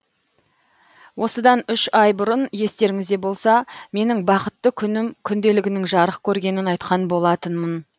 осыдан үш ай бұрын естеріңізде болса менің бақытты күнім күнделігінің жарық көргенін айтқан болатынмын